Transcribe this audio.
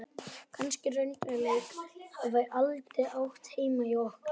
Kannski raunveruleikinn hafi aldrei átt heima hjá okkur.